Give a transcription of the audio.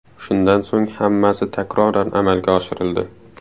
Shundan so‘ng hammasi takroran amalga oshirildi.